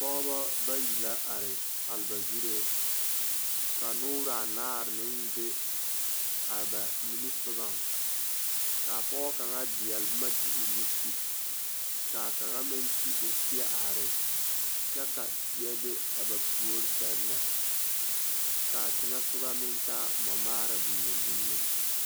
Pɔgeba bayi la are maale ba zuree ka noore a naare meŋ be a ba nimisogoŋ k,a pɔge kaŋa deɛle boma de o nu ti k,a kaŋa meŋ ti o seɛ are ne kyɛ ka teɛ be a ba puori seŋ na k,a teŋɛ sogɔ meŋ taa mɔmaara bonyen bonyen.